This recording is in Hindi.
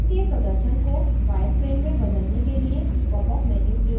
#model के प्रदर्शन को wireframe मे बदलने के लिए popup menu प्रयोग करें